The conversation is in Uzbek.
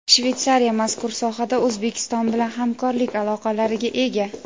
Shvetsariya mazkur sohada O‘zbekiston bilan hamkorlik aloqalariga ega.